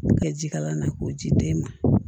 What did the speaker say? K'u kɛ ji kala na k'o ji den ma